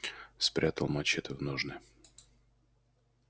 спрятал мачете в ножны